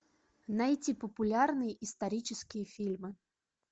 найти популярные исторические фильмы